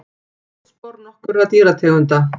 Fótspor nokkurra dýrategunda.